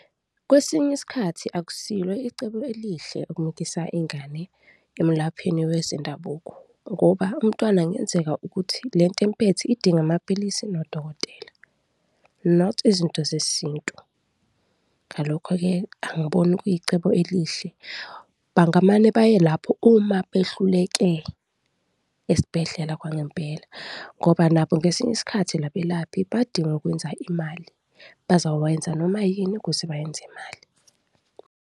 Kwesinye isikhathi akusilo icebo elihle ukumukisa ingane emelapheni wezendabuko ngoba umntwana kungenzeka ukuthi le nto emphethe idinga amaphilisi nodokotela, not izinto zesintu, ngalokho-ke angiboni kuyicebo elihle. Bangamane baye lapho uma behluleke esibhedlela kwangempela ngoba nabo ngesinye isikhathi labelaphi badinga ukwenza imali, bazokwenza noma yini ukuze bayenze imali.